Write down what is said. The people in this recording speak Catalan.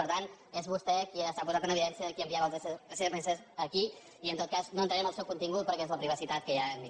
per tant és vostè qui s’ha posat en evidència de qui enviava els sms a qui i en tot cas no entraré en el seu contingut perquè és la privacitat que ja hem dit